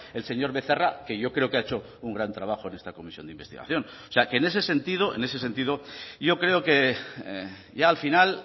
el señor becerra que yo creo que ha hecho un gran trabajo en esta comisión de investigación o sea que en ese sentido yo creo que ya al final